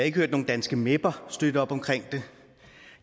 ikke hørt nogen danske meper støtte op omkring det